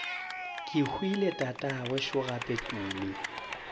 kehwile tatagwe šo gape tumi